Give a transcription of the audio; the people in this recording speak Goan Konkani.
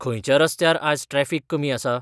खंयच्या रस्त्यार आज ट्रॅफिक कमी आसा?